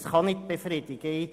Es kann nicht befriedigen.